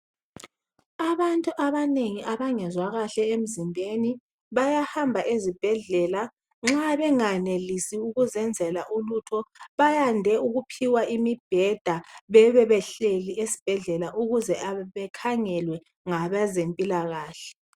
Abantu abanengi abangezwa kahle emzimbeni, bayahamba ezibhedlela. Nxa benganelisi ukuzenzela ulutho, bayande ukuphiwa imibheda. Bebe behleli esibhedlela ukuze bekhangelwe ngabezempilakahle.